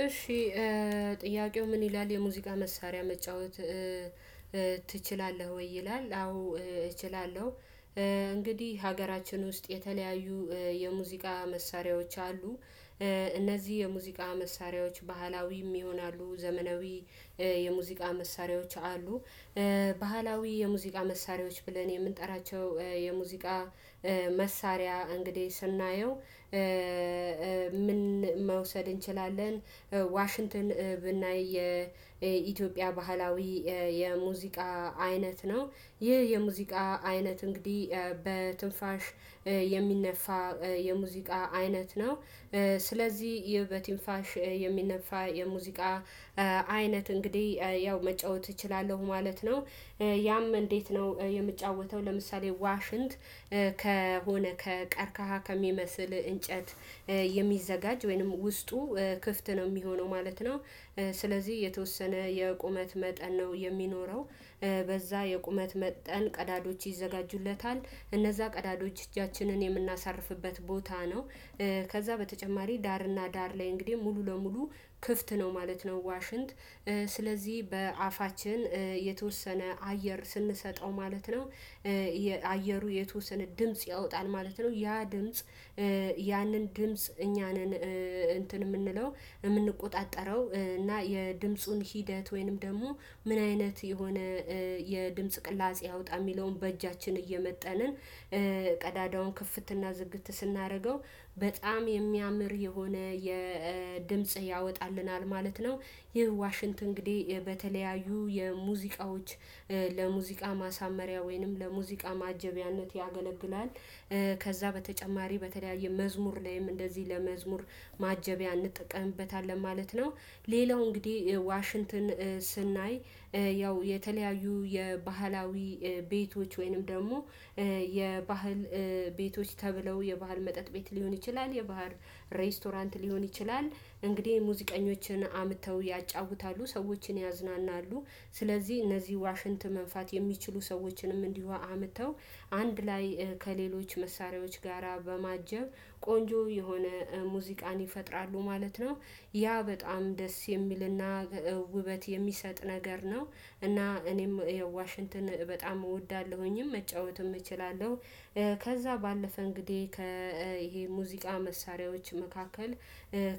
እሺ ጥያቄው ምን ይላል? የሙዚቃ መሳሪያ መጫወት ትችላለህ ወይ ይላል? አዎ እችላለሁ። እንግዲህ ሀገራችን ውስጥ የተለያዩ የሙዚቃ መሳሪያ መሳሪዎች አሉ። እነዚህ የሙዚቃ መሳሪያዎች ባህላዊም ይሆናሉ ዘመናዊ የሙዚቃ መሳሪያዎች አሉ። ባህላዊ የሙዚቃ መሳሪያዎች ብለን የምንጠራቸው የሙዚቃ መሳሪያ እንግዲህ ስናየው? ምን መውሰድ እንችላለን። ዋሽንትን ብናይ የኢትዮጵያ ባህላዊ የሙዚቃ አይነት ነው። ይህ የሙዚቃ አይነት እንግዲህ በትንፋሽ የሚነፋ የሙዚቃ አይነት ነው። ስለዚህ ይህ በትንፋሽ የሚነፋ የሙዚቃ አይነት እንግዲህ ያው መጫወት እችላለሁ ማለት ነው። ያም እንዴት ነው የምጫወተው? ለምሳሌ ዋሽንት ከሆነ ከቀርካሃ ከሚመስል እንጨት የሚዘጋጅ ወይንም ውስጡ ክፍት ነው የሚሆነው ማለት ነው። ስለዚህ የተወሰነ የቁመት መጠን ነው የሚኖረው። በዛ የቁመት መጠን ቀዳዶች ይዘጋጁለታል እነዛ ቀዳዶች እጃችንን የምናሳርፍበት ቦታ ነው። ከዛ በተጨማሪ ዳርና ዳር ላይ እንግዲህ ሙሉ ለሙሉ ክፍት ነው ማለት ነው ዋሽንት። ስለዚህ በአፋችን የተወሰነ አየር ስንሰጠው ማለት ነው። አየሩ የተወሰነ ድምጽ ያወጣል ማለት ነው። ያ ድምጽ ያንን ድምጽ እኛ ነን። እንትን የምንለው የምንቆጣጠረው እና የድምጹን ሂደት ወይንም ደግሞ ምን አይነት የሆነ የድምጽ ቅላጼ ያውጣ የሚለውን በእጃችን እየመጠንን ቀዳዳውን ክፍትና ዝግት ስናደርገው በጣም የሚያምር የሆነ የድምጽ ያወጣልናል ማለት ነው። ይህ ዋሽንት እንግዲህ በተለያዩ የሙዚቃዎች ለሙዚቃ ማሳመሪያ ወይንም ለሙዚቃ ማጀቢያነት ያገለግላል። ከዛ በተጨማሪ በተለያየ መዝሙር ላይም እንደዚህ ለመዝሙር ማጀቢያ እንጠቀምበታለን ማለት ነው። ሌላው እንግዲህ ዋሽንትን ስናይ ያው የተለያዩ የባህላዊ ቤቶች ወይንም ደግሞ የባህል ቤቶች ተብለው የባህል መጠጥ ቤት ሊሆን ይችላል የባህር ሬስቶራንት ሊሆን ይችላል። እንግዲህ ሙዚቀኞችን አምጥተው ያጫውታሉ ሰዎችን ያዝናናሉ። ስለዚህ እነዚህ ዋሽንት መንፋት የሚችሉ ሰዎችንም እንዲሁ አምጥተው አንድ ላይ ከሌሎች መሳሪያዎች ጋራ በማጀብ ቆንጆ የሆነ ሙዚቃን ይፈጥራሉ ማለት ነው። ያ በጣም ደስ የሚልና ውበት የሚሰጥ ነገር ነው። እና እኔም ዋሽንትን በጣም እወዳለሁኝም መጫወትም እችላለሁ። ከዛ ባለፈ እንግዲህ ከ ይሄ ሙዚቃ መሳሪያዎች መካከል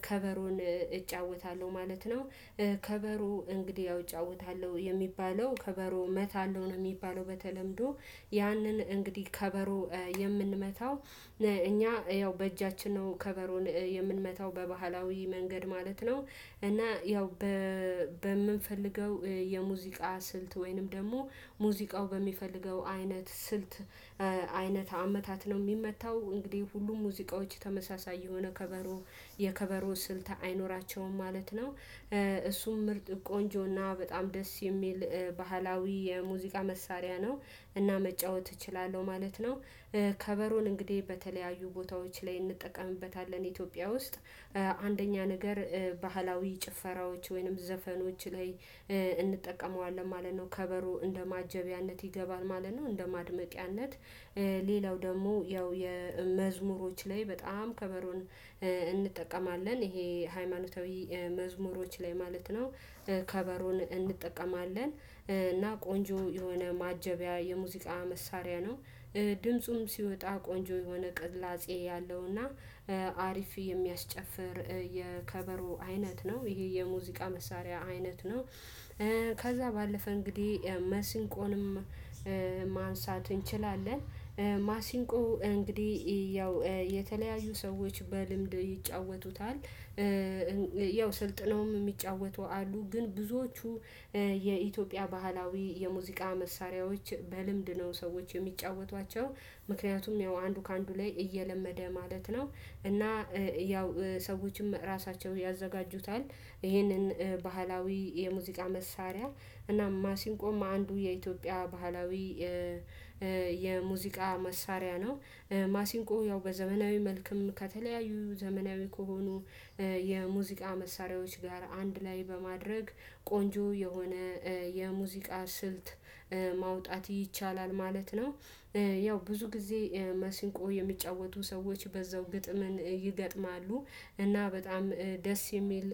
ከበሮን እጫወታለሁ ማለት ነው። ከበሮ እንግዲህ ያው እውጫውታለሁ የሚባለው ከበሮ እመታለሁ ነው የሚባለው በተለምዶ ያንን እንግዲህ ከበሮ የምንመታው እኛ ያው በእጃችን ነው ከበሮን የምንመታው በባህላዊ መንገድ ማለት ነው። እና ያው በምንፈልገው የሙዚቃ ስልት ወይንም ደግሞ ሙዚቃው በሚፈልገው አይነት ስልት አይነት አመታት ነው የሚመታው እንግዲህ ሁሉም ሙዚቃዎች ተመሳሳይ የሆነ ከበሮ የከበሮ ስልት አይኖራቸውም ማለት ነው። እሱም ምርጥ ቆንጆና በጣም ደስ የሚል ባህላዊ የሙዚቃ መሳሪያ ነው። እና መጫወት እችላለሁ ማለት ነው። ከበሮን እንግዲህ በተለያዩ ቦታዎች ላይ እንጠቀምበታለን ኢትዮጵያ ውስጥ አንደኛ ነገር ባህላዊ ጭፈራዎች ወይንም ዘፈኖች ላይ እንጠቀመዋለን ማለት ነው። ከበሮ እንደ ማጀቢያነት ይገባል ማለት ነው። እንደ ማድመቂያነት ሌላው ደግሞ ያው የመዝሙሮች ላይ በጣም ከበሮን ይሄ ሃይማኖታዊ መዝሙሮች ላይ ማለት ነው። ከበሮን እንጠቀማለን እና ቆንጆ የሆነ ማጀቢያ የሙዚቃ መሳሪያ ነው። ድምፁም ሲወጣ ቆንጆ የሆነ ቅላጼ ያለው እና አሪፍ የሚያስጨፍር የከበሮ አይነት ነው ይሄ የሙዚቃ መሳሪያ አይነት ነው። ከዛ ባለፈ እንግዲህ መስንቆንም ማንሳት እንችላለን። ማሲንቆ እንግዲህ ያው የተለያዩ ሰዎች በልምድ ይጫወቱታል። ያው ስልጥነውም የሚጫወቱ አሉ ግን ብዙዎቹ የኢትዮጵያ ባህላዊ የሙዚቃ መሳሪያዎች በልምድ ነው ሰዎች የሚጫወቷቸው። ምክንያቱም ያው አንዱ ከአንዱ ላይ እየለመደ ማለት ነው። እና ያው ሰዎችም ራሳቸው ያዘጋጁታል። ይሄንን ባህላዊ የሙዚቃ መሳሪያ እናም ማሲንቆም አንዱ የኢትዮጵያ ባህላዊ የሙዚቃ መሳሪያ ነው። ማሲንቆ ያው በዘመናዊ መልኩም ከተለያዩ ዘመናዊ ከሆኑ የሙዚቃ መሳሪያዎች ጋር አንድ ላይ በማድረግ ቆንጆ የሆነ የሙዚቃ ስልት ማውጣት ይቻላል ማለት ነው። ያው ብዙ ጊዜ ማሲንቆ የሚጫወቱ ሰዎች በዛው ግጥምን ይገጥማሉ እና በጣም ደስ የሚል